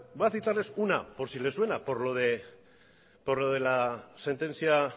voy a citarles una por si les suena por lo de la sentencia